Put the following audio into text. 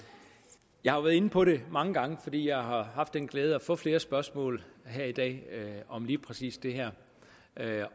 jeg har jo været inde på det mange gange fordi jeg har haft den glæde at få flere spørgsmål her i dag om lige præcis det her